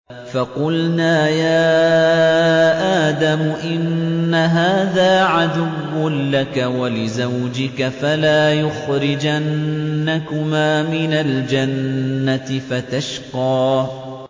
فَقُلْنَا يَا آدَمُ إِنَّ هَٰذَا عَدُوٌّ لَّكَ وَلِزَوْجِكَ فَلَا يُخْرِجَنَّكُمَا مِنَ الْجَنَّةِ فَتَشْقَىٰ